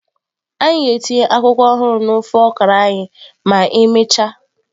Anyị ga-etinye akwụkwọ ọhụrụ na ofe okra anyị ma emechaa.